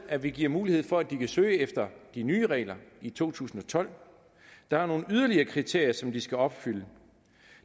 at vi giver mulighed for at de kan søge efter de nye regler i to tusind og tolv der er nogle yderligere kriterier som de skal opfylde